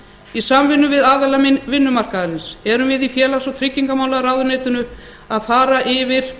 í samvinnu við aðila vinnumarkaðarins eru við í félags og tryggingamálaráðuneytinu að fara yfir